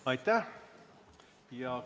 Aitäh!